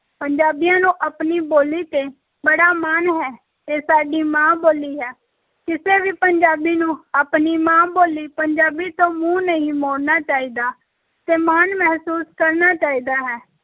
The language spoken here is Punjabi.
ਪੰਜਾਬੀਆਂ ਨੂੰ ਆਪਣੀ ਬੋਲੀ ‘ਤੇ ਬੜਾ ਮਾਣ ਹੈ, ਇਹ ਸਾਡੀ ਮਾਂ-ਬੋਲੀ ਹੈ, ਕਿਸੇ ਵੀ ਪੰਜਾਬੀ ਨੂੰ ਆਪਣੀ ਮਾਂ-ਬੋਲੀ ਪੰਜਾਬੀ ਤੋਂ ਮੂੰਹ ਨਹੀਂ ਮੋੜਨਾ ਚਾਹੀਦਾ ਤੇ ਮਾਣ ਮਹਿਸੂਸ ਕਰਨਾ ਚਾਹੀਦਾ ਹੈ।